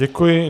Děkuji.